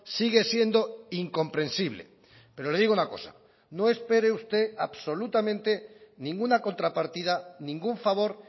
sigue siendo incomprensible pero le digo una cosa no espere usted absolutamente ninguna contrapartida ningún favor